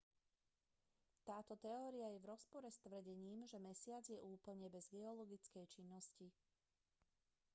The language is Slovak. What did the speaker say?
táto teória je v rozpore s tvrdením že mesiac je úplne bez geologickej činnosti